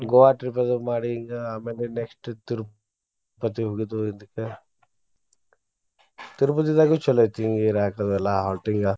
Goa trip ದು ಮಾಡಿ ಈಗಾ ಆಮೇಲೆ next Tirupati ಮತ್ತ ಹೋಗಿದ್ ಇದುಕ್ಕ Tirupati ದಾಗು ಚೊಲೋ ಐತಿ ಹಿಂಗ್ ಇರಾಕ ಅದು ಎಲ್ಲಾ halting .